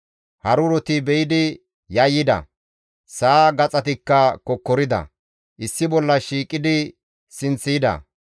Haruroti be7idi yayyida; sa7a gaxatikka kokkorida; issi bolla shiiqidi sinth yida.